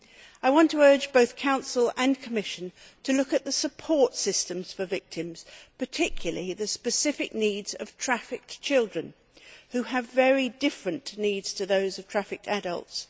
I want to urge both the Council and Commission to look at the support systems for victims, particularly the specific needs of trafficked children, who have very different needs to those of trafficked adults.